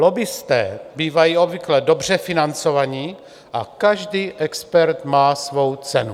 Lobbisté bývají obvykle dobře financovaní a každý expert má svou cenu.